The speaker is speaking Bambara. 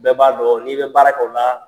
Bɛɛ b'a dɔn n'i bɛ baara la